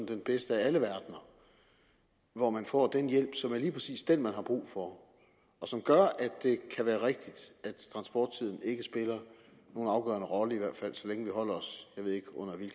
den bedste af alle verdener hvor man får den hjælp som er lige præcis den man har brug for og som gør at det kan være rigtigt at transporttiden ikke spiller nogen afgørende rolle i hvert fald så længe vi holder os under